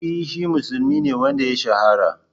E shi musulmi ne wanda ya shahara.